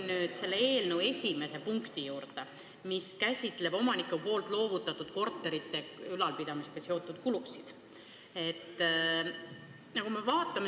Ma tulen eelnõu selle punkti juurde, mis käsitleb omaniku poolt loovutatud korterite ülalpidamisega seotud kulusid.